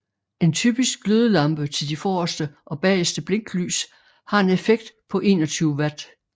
En typisk glødelampe til de forreste og bageste blinklys har en effekt på 21 Watt